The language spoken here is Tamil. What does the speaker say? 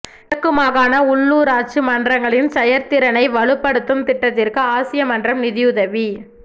கிழக்கு மாகாண உள்ளுராட்சி மன்றங்களின் செயற்திறனை வலுப்படுத்தும் திட்டத்திற்கு ஆசிய மன்றம் நிதி உதவி